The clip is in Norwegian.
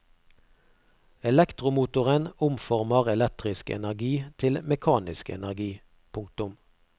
Elektromotoren omformer elektrisk energi til mekanisk energi. punktum